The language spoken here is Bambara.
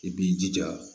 I b'i jija